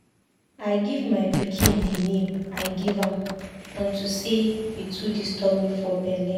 I give my pikin the name I give am unto say he too disturb me for bele.